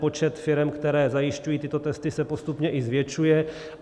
Počet firem, které zajišťují tyto testy, se postupně i zvětšuje.